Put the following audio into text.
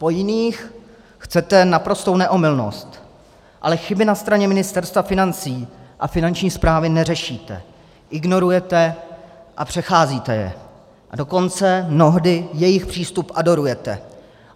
Po jiných chcete naprostou neomylnost, ale chyby na straně Ministerstva financí a Finanční správy neřešíte, ignorujete a přecházíte je, a dokonce mnohdy jejich přístup adorujete.